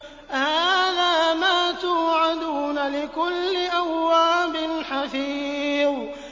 هَٰذَا مَا تُوعَدُونَ لِكُلِّ أَوَّابٍ حَفِيظٍ